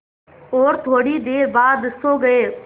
और थोड़ी देर बाद सो गए